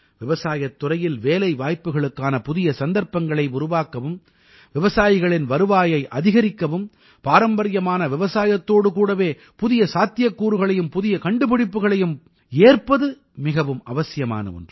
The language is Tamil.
விவசாயத் துறையில் வேலைவாய்ப்புக்களுக்கான புதிய சந்தர்ப்பங்களை உருவாக்கவும் விவசாயிகளின் வருவாயை அதிகரிக்கவும் பாரம்பரியமான விவசாயத்தோடு கூடவே புதிய சாத்தியக்கூறுகளையும் புதிய கண்டுபிடிப்புக்களையும் ஏற்பது மிகவும் அவசியமான ஒன்று